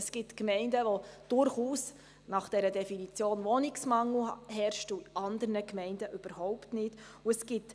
Es gibt Gemeinden, in welchen gemäss Definition durchaus Wohnungsmangel herrscht, während das in anderen überhaupt nicht der Fall ist.